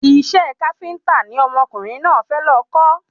Isẹ́ káféntà ni ọmọkùnrin náà fẹ́ lọ kọ́